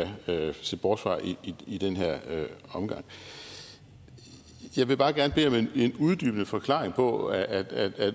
det vil jeg se bort fra i den her omgang jeg vil bare gerne bede om en en uddybende forklaring på at